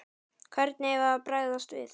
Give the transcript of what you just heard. Hvernig eigum við að bregðast við?